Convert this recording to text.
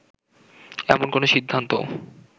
এমন কোন সিদ্ধান্তও